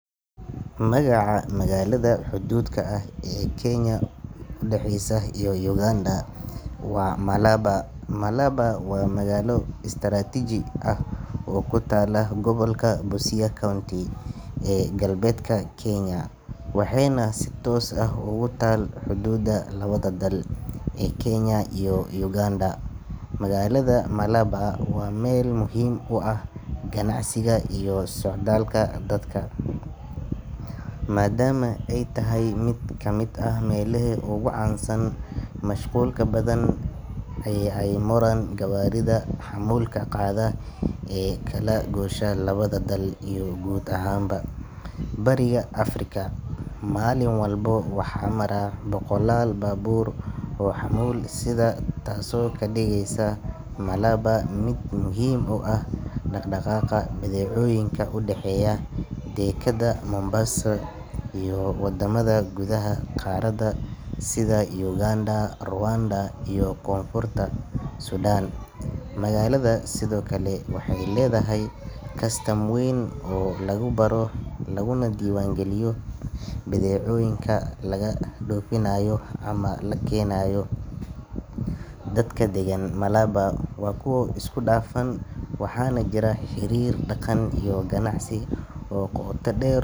Magaca magaalada xuduudka ah ee u dhexeysa Kenya iyo Uganda waa Malaba. Malaba waa magaalo istaraatiiji ah oo ku taalla gobolka Busia County ee galbeedka Kenya, waxayna si toos ah ugu taal xuduudda labada dal ee Kenya iyo Uganda. Magaalada Malaba waa meel muhiim u ah ganacsiga iyo socdaalka dadka, maadaama ay tahay mid ka mid ah meelaha ugu mashquulka badan ee ay maraan gawaarida xamuulka qaada ee u kala goosha labada dal iyo guud ahaan Bariga Afrika. Maalin walba waxaa mara boqolaal baabuur oo xamuul sida, taasoo ka dhigeysa Malaba mid muhiim u ah dhaqdhaqaaqa badeecooyinka u dhexeeya dekadda Mombasa iyo waddamada gudaha qaaradda sida Uganda, Rwanda, iyo Koonfurta Suudaan. Magaalada sidoo kale waxay leedahay kastam weyn oo lagu baaro laguna diiwaangeliyo badeecooyinka laga dhoofinayo ama la keenayo. Dadka deggan Malaba waa kuwo isku dhafan, waxaana jira xiriir dhaqan iyo ganacsi oo qoto dheer.